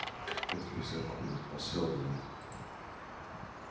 это незаконно по сэлдону